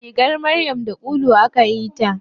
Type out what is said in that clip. Rigar maryam da ulu akayi ta.